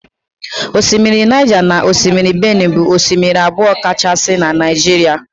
Osimiri Niger na osimiri benue bụ osimiri abụọ kachasị na Naịjirịa